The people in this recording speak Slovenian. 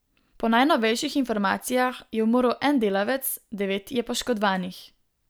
Po najnovejših informacijah je umrl en delavec, devet je poškodovanih.